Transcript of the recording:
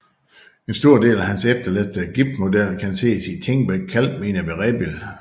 En stor del af hans efterladte gipsmodeller kan ses i Thingbæk Kalkminer ved Rebild